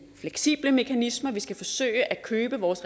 fleksible mekanismer om vi skal forsøge at købe vores